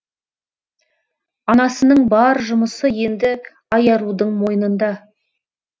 анасының бар жұмысы енді айарудың мойнында